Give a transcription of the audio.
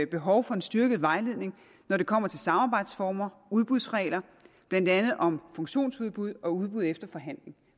behov for en styrket vejledning når det kommer til samarbejdsformer udbudsregler blandt andet om funktionsudbud og udbud efter forhandling